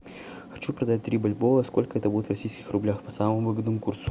хочу продать три бальбоа сколько это будет в российских рублях по самому выгодному курсу